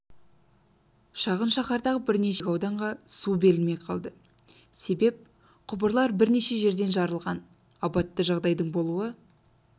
шағын шаһардағы бірнеше мөлтек ауданға су берілмей қалды себеп құбырлар бірнеше жерден жарылған апатты жағдайдың болуы